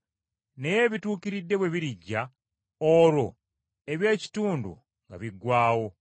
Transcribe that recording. Naye ebituukiridde bwe birijja, olwo eby’ekitundu nga biggwaawo.